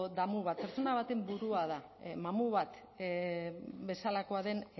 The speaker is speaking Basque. damu bat pertsona baten burua da mamu bat bezalakoa den